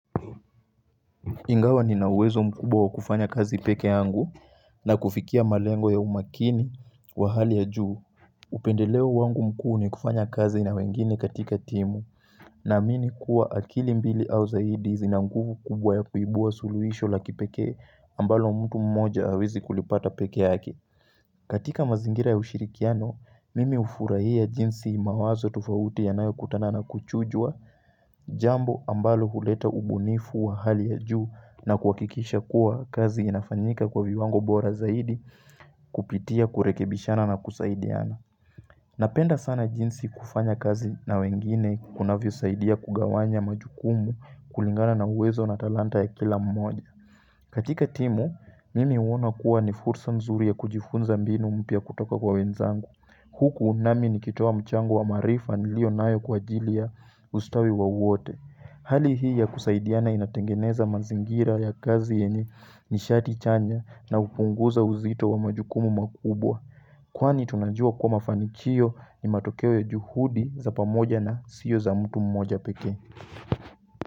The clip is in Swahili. Ingawa nina uwezo mkubwa wa kufanya kazi peke yangu na kufikia malengo ya umakini wa hali ya juu upendeleo wangu mkuu ni kufanya kazi na wengine katika timu naamini kuwa akili mbili au zaidi zina nguvu kubwa ya kuibua suluhisho la kipekee ambalo mtu mmoja hawezi kulipata peke yake katika mazingira ya ushirikiano, mimi hufurahia jinsi mawazo tofauti yanayo kutana na kuchujwa, jambo ambalo huleta ubunifu wa hali ya juu na kuhakikisha kuwa kazi inafanyika kwa viwango bora zaidi kupitia kurekebishana na kusaidiana Napenda sana jinsi kufanya kazi na wengine kunavyosaidia kugawanya majukumu kulingana na uwezo na talanta ya kila mmoja. Katika timu, nimi uona kuwa ni fursa nzuri ya kujifunza mbinu mpya kutoka kwa wenzangu. Huku nami nikitoa mchango wa maarifa nilio nayo kwa ajili ya ustawi wowote. Hali hii ya kusaidiana inatengeneza mazingira ya kazi yenye nishati chanya na kupunguza uzito wa majukumu makubwa. Kwani tunajua kuwa mafanikio ni matokeo ya juhudi za pamoja na sio za mtu mmoja peke.